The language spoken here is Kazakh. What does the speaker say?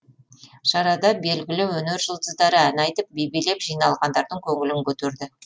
шарада белгілі өнер жұлдыздары ән айтып би билеп жиналғандардың көңілін көтерді